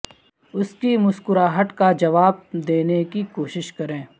اس کی مسکراہٹ کا جواب دینے کی کوشش کریں